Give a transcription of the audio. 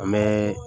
An bɛ